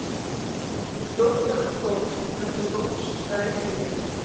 доктор кто шестой сезон шестая серия